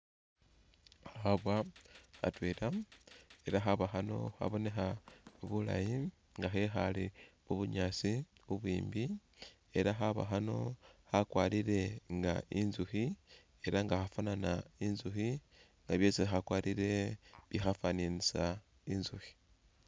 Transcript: Khabwa khatwela ela khabwa khano kabonekha bulaayi nga khekhaale mu bunyaasi bubwiimbi ela khabwa khano khakwarire nga inzukhi ela nga khafwanana inzukhi nga byesi khakwarire bikhafwananisa inzukhi.